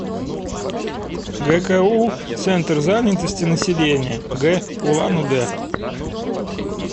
гку центр занятости населения г улан удэ